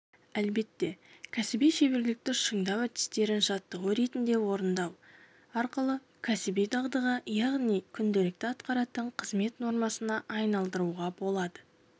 әлбетте кәсіби шеберлікті шыңдау әдістерін жаттығу ретінде орындау арқылы кәсіби дағдыға яғни күнделікті атқаратын қызмет нормасына айналдыруға болады